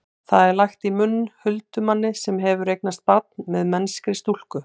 það er lagt í munn huldumanni sem hefur eignast barn með mennskri stúlku